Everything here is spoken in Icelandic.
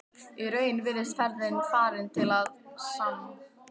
Í raun virðist ferðin farin til að sann